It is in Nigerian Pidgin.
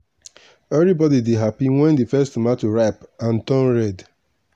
everybody dey happy when the first tomato ripe and turn red.